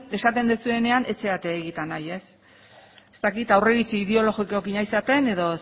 esaten duzuenean ez zarete egietan ari ez ez dakit aurreiritzi ideologikoarekin ari zareten edo